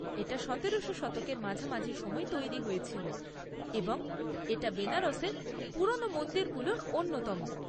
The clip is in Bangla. এটা সতেরো শতকের মাঝামাঝি সময়ে তৈরি হয়েছিল এবং এটা বেনারসের পুরনো মন্দিরগুলোর অন্যতম।